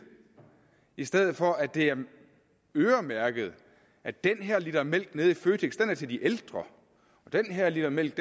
i stedet for at det er øremærket at den her liter mælk nede i føtex er til de ældre og den her liter mælk